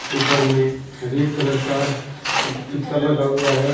ऊपर में red colour का लगा हुआ है।